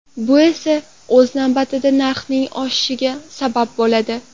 Bu esa o‘z navbatida narxning oshishiga sabab bo‘ladi.